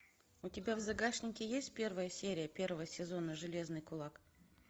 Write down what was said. у тебя в загашнике есть первая серия первого сезона железный кулак